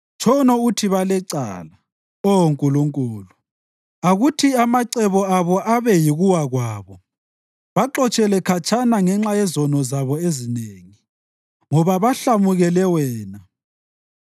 Tshono uthi balecala, Oh Nkulunkulu! Akuthi amacebo abo abe yikuwa kwabo. Baxotshele khatshana ngenxa yezono zabo ezinengi, ngoba bakuhlamukele wena.